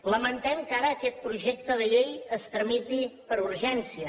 lamentem que ara aquest projecte de llei es tramiti per urgència